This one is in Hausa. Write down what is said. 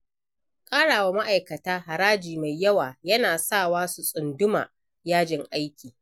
Ƙarawa ma'aikata haraji mai yawa, yana sawa su tsunduma yajin aiki.